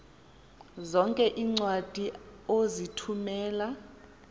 zonke iincwadi ozithumela